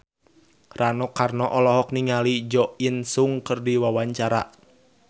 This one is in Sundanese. Rano Karno olohok ningali Jo In Sung keur diwawancara